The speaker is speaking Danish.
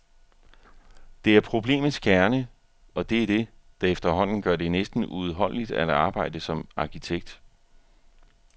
Det er problemets kerne, og det er det, der efterhånden gør det næsten uudholdeligt at arbejde som arkitekt.